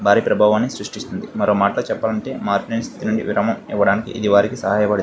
భారీ ప్రభావాన్ని సృష్టిస్తుంది మరో మాటలో చెపాలంటే స్టితి నుండి విరామం ఇవ్వటానికి ఇది వారికి సహాయపడు --